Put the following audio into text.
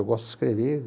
Eu gosto de escrever.